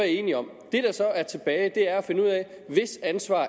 enige om det der så er tilbage er at finde ud af hvis ansvar